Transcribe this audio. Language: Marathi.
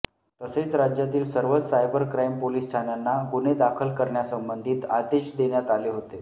तसेच राज्यातील सर्वच सायबर क्राईम पोलीस ठाण्यांना गुन्हे दाखल करण्यासंबंधीत आदेश देण्यात आले होते